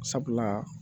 Sabula